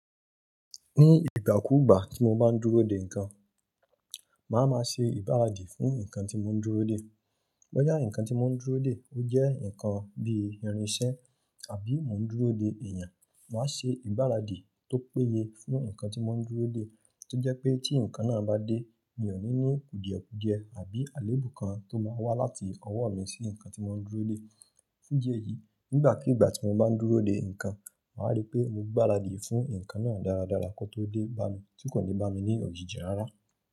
Ní ìgbà kúùgbà tí mo bá ń dúró de nǹkan, màá máa ṣe ìgbáradì fún nǹkan tí mò ń dúró de. Bóyá nǹkan tí mò ń dúró de ó jẹ́ nǹkan bí i irinṣẹ́ àbí mò ń dúró de èèyàn, màá ṣe ìgbáradì tó péye fún nǹkan tí mò ń dúró de tó jẹ́ pé tí nǹkan náà bá dé, mi ò ní ní kùdìẹ̀-kùdìẹ àbí àléébù kan tó máa wá láti ọwọ́ mi sí nǹkan tí mò ń dúró de. Fún idi eyí, nígbà kúùgbà tí mo bá ń dúró de nǹkan, màá rí pé mo gbáradì fún nǹkan náà dáradára kó tó dé bá mi tí kò ní bá mi ní òjìji rárá.